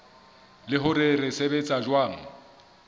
le hore se sebetsa jwang